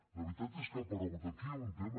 la veritat és que ha aparegut aquí un tema